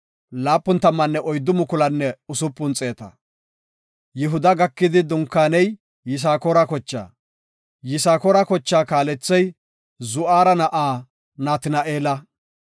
Yihuda gakidi dunkaananay Yisakoore kochaa. Yisakoora kochaa kaalethey Zu7ara na7aa Natina7eela.